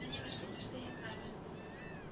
за ними сколько стоять надо